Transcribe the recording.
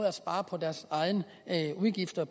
at spare på deres egne udgifter